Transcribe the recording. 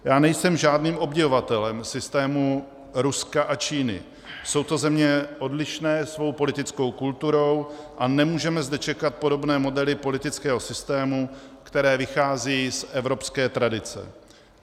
Já nejsem žádným obdivovatelem systému Ruska a Číny, jsou to země odlišné svou politickou kulturou a nemůžeme zde čekat podobné modely politického systému, které vychází z evropské tradice.